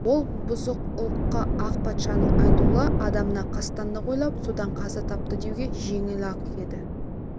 ол бұзық ұлыққа ақ патшаның айтулы адамына қастандық ойлап содан қаза тапты деуге жеңіл-ақ еді